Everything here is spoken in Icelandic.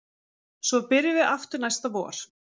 Svo byrjum við aftur næsta vor